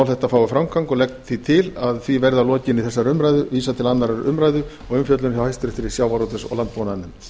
þetta fái framgang og legg því til að því verði að lokinni þessari umræðu vísað til annarrar umræðu og umfjöllunar hjá háttvirtum sjávarútvegs og landbúnaðarnefnd